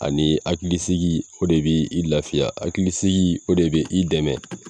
Ani akilisigi o de be i lafiya akilisigi o de be i dɛmɛ